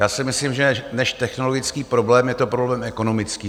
Já si myslím, že než technologický problém je to problém ekonomický.